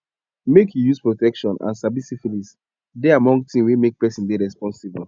make you use protection and sabi syphilis dey among thing were make person dey responsible